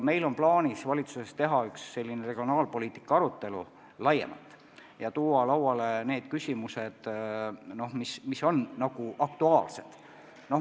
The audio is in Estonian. Meil on plaanis valitsuses teha üks laiem regionaalpoliitika arutelu ja tuua lauale kõik aktuaalsed küsimused.